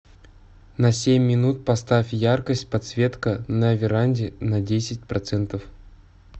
на семь минут поставь яркость подсветка на веранде на десять процентов